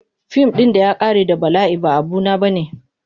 Fim ɗin da ya ƙare da bala'i ba abu na bane.